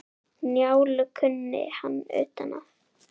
Njálu kunni hann utan að.